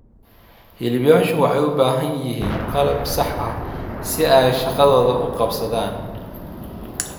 Hiliblayaashu waxay u baahan yihiin qalab sax ah si ay shaqadooda u qabsadaan.